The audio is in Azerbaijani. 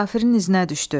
Kafirin izinə düşdü.